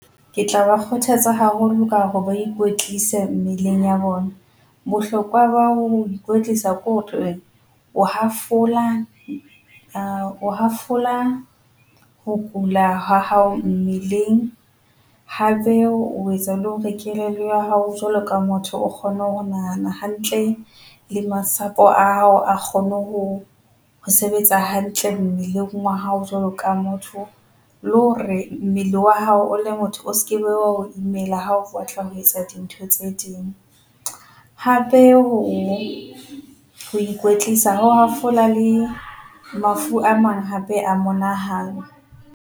Ke tla ba kgothatsa haholo ka hore ba ikwetlise mmeleng ya bona. Bohlokwa ba ho ikwetlisa , o hafola o hafola ho kula ha hao mmeleng hape o etsa le hore kelello ya hao jwalo ka motho o kgone ho nahana hantle le masapo a hao a kgone ho, ho sebetsa hantle mmeleng wa hao jwalo ka motho. Le hore mmele wa hao o le motho o skebe wa o imela ha o batla ho etsa dintho tse ding. Hape, ho ho ikwetlisa ho hafola le mafu a mang hape a bonahala.